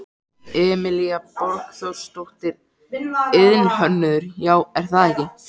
Emilía Borgþórsdóttir, iðnhönnuður: Já, er það ekki?